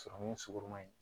Sɔrɔmu sugurunma in